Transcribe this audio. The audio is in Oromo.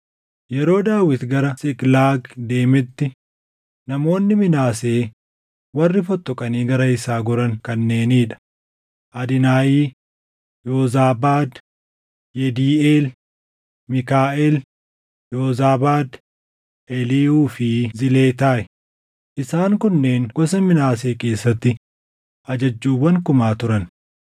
Yeroo Daawit gara Siiqlaag deemetti namoonni Minaasee warri fottoqanii gara isaa goran kanneenii dha: Adinaahi, Yoozaabaad, Yediiʼeel, Miikaaʼel, Yoozaabaad, Eliihuu fi Ziletaayi; isaan kunneen gosa Minaasee keessatti ajajjuuwwan kumaa turan.